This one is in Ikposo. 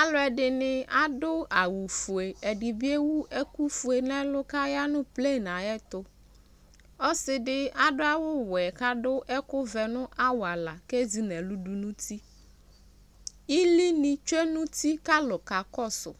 Alʋ ɛdini adʋ awʋ fue, ɛdi bi ewʋ ɛkʋ fue n'ɛlʋ kʋ aya nʋ pleni ayɛtʋ Ɔsi di adʋ awʋ wɛ kʋ adʋ ɛkʋ vɛ nʋ awala kʋ ezi n'ɛlʋ dʋ nʋ uti Ili ni tsue nʋ uti kʋ alʋ kakɔsʋ